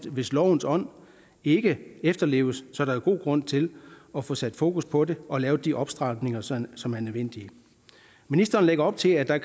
hvis lovens ånd ikke efterleves er der jo god grund til at få sat fokus på det og få lavet de opstramninger som som er nødvendige ministeren lægger op til at der